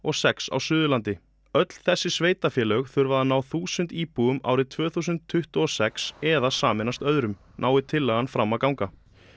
sex á Suðurlandi öll þessi sveitarfélög þurfa að ná þúsund íbúum árið tvö þúsund tuttugu og sex eða sameinast öðrum nái tillagan fram að ganga